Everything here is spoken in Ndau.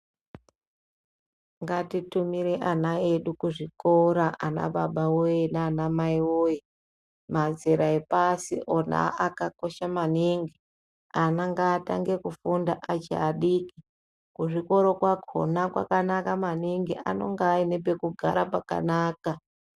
Ngatitumire ana edu kuzvikora ana baba nana mai woye mazera epasi ona akakosha maningi ana ngatange kufunda achi adiki kuzvikoro kwakhona kwakanaka maningi anenge ane pekugara pakanaka.